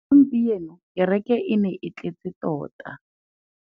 Gompieno kêrêkê e ne e tletse tota.